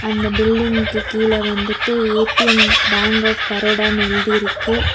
அந்த பில்டிங்க்கு கீழ வந்துட்டு ஏ_டி_எம் பேங்க் ஆஃப் பரோடானு எழுதியிருக்கு.